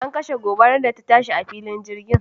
An kashe gobarar da ta shi a filin jirgin.